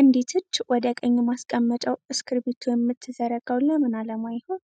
አንዲት እጅ ወደ ቀኝ ማስቀመጫው እስክሪብቶ የምትዘረጋው ለምን ዓላማ ይሆን?